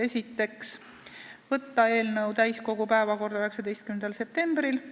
Esiteks, võtta eelnõu täiskogu päevakorda 19. septembriks.